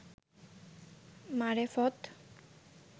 মারেফত